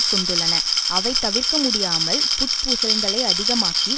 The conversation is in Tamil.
கொண்டுள்ளன அவை தவிர்க்க முடியாமல் புட்பூசல்களை அதிகமாக்கி